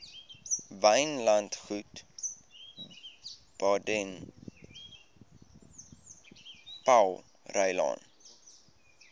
wynlandgoed baden powellrylaan